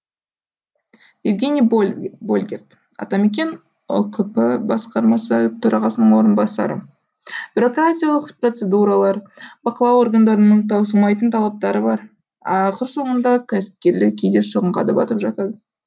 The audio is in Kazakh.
евгений больгерт атамекен ұкп басқармасы төрағасының орынбасары бюрократиялық процедуралар бақылау органдарының таусылмайтын талаптары бар ақыр соңында кәсіпкерлер кейде шығынға да батып жатады